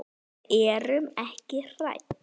Við erum ekki hrædd.